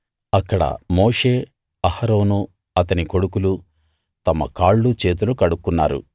అక్కడ మోషే అహరోను అతని కొడుకులు తమ కాళ్ళు చేతులు కడుక్కున్నారు